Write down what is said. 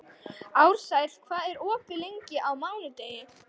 Ársæl, hvað er opið lengi á mánudaginn?